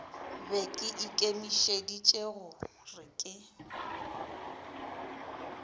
be ke ikemišeditše gore ke